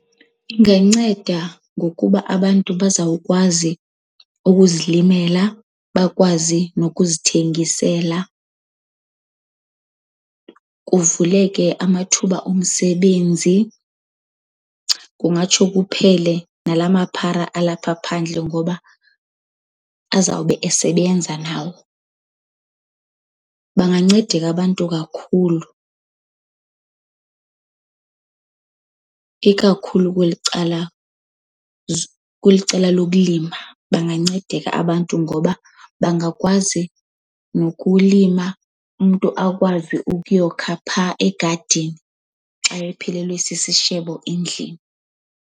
Inganceda ngokuba abantu bazawukwazi ukuzilimela, bakwazi nokuzithengisela, kuvuleke amathuba omsebenzi. Kungatsho kuphele nala maphara alapha phandle ngoba azawube esebenza nawo. Bangancedeka abantu kakhulu, ikakhulu kweli cala kweli cala lokulima. Bangancedeka abantu ngoba bangakwazi nokulima, umntu akwazi ukuyokha phaa egadini xa ephelelwa sisishebo endlini.